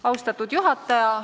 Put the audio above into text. Austatud juhataja!